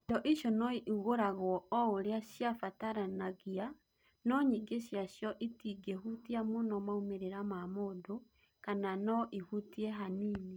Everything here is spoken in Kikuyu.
Indo icio no igũragwo o ũrĩa ciabataranagia, no nyingĩ ciacio itingĩhutia mũno maumĩrĩra ma mũndũ kana no ihutie hanini.